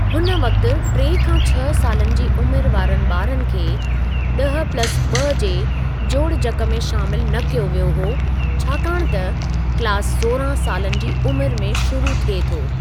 हुन वक़्ति टे खां छह सालनि जी उमिरि वारनि ॿारनि खे ॾह प्लस ॿ जे जोड़जक में शामिलु न कयो वियो हुओ छाकाणि त क्लास सोरहां सालनि जी उमिरि में शुरू थिए थो।